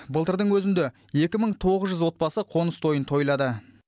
былтырдың өзінде екі мың тоғыз жүз отбасы қоныс тойын тойлады